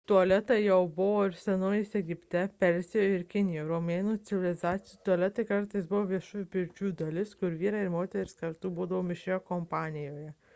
tualetai jau buvo senovės egipte persijoje ir kinijoje romėnų civilizacijoje tualetai kartais buvo viešųjų pirčių dalis kur vyrai ir moterys kartu būdavo mišrioje kompanijoje